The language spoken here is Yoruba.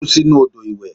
Ó kú sinú odò ìwẹ̀.